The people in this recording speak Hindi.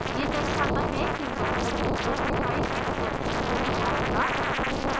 यह दर्शाता है कि मैथड specified exception को बढायेगा